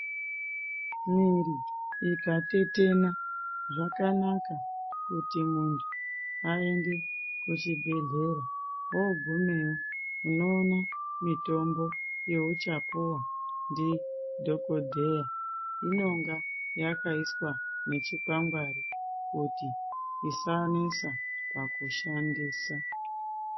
Mwiri ikatetena zvakanaka kuti muntu aende kuchibhedhleya ogumeyi unoona mitombo yauchapuwa ndidhokodheya inonga yakaiswa nechikwangwari kuri isanesa pakushandisa.